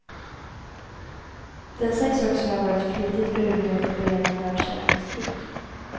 Den sägs också ha varit flitigt brukad för beredande av kärleksdryck.